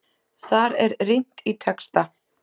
Þar er rýnt í texta.